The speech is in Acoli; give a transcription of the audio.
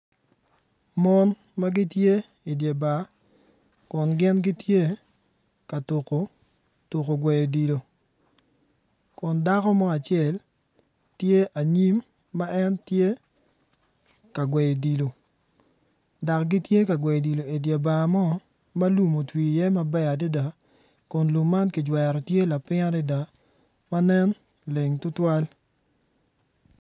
Mon magitye idye bar kun gin gitye ka tuko tuko gweyo odilo kun dako mo acel tye anyim ma en tye ka gweyo odilo dok gitye kagweyo odilo idye bar mo ma lum otwi iye maber adada kun lum man kijwero tye lapiny adada ma nen leng tutwal